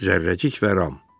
Zərrəcik və Ram.